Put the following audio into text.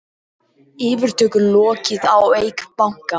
Yfirtöku lokið á Eik banka